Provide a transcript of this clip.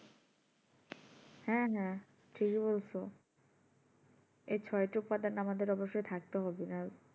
হ্যাঁ হ্যাঁ ঠিকই বলছো এই ছটি উপাদান আমাদের অবশ্যই থাকতে হবে নাহলে